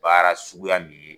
Baara suguya min ye